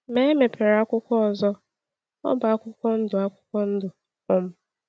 Ma a mepere akwụkwọ ọzọ; ọ bụ akwụkwọ ndụ. akwụkwọ ndụ. um